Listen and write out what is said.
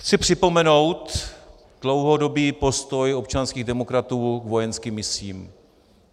Chci připomenout dlouhodobý postoj občanských demokratů k vojenským misím.